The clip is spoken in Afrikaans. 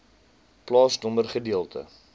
plaasnommer gedeelte